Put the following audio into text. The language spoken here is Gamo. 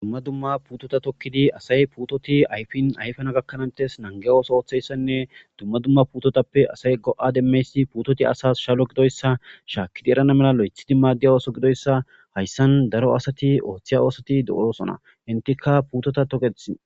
dumma dumma putota tokkidi asay puutoti ayfin ayfana gakkanantes nange ooso ooththeyssanne dumma dumma putotappe asay go7a demmeysi puutoti asas shalo gidoyssa shaakkidi erana mela lo7ethidi maadiy ooso gidoyssa hayssan daro asati ooththiya oosati do7oosona hintika puutota toketh